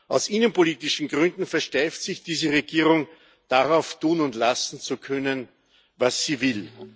Aus innenpolitischen Gründen versteift sich diese Regierung darauf, tun und lassen zu können, was sie will.